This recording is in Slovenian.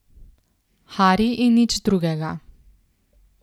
Hari in nič drugega.